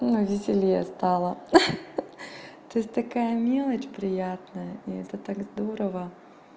ну веселее стало ах-ах то есть такая мелочь приятная и это так здорово